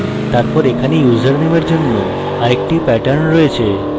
তারপর এখানে ইউজারনেমের জন্য আরেকটি pattern রয়েছে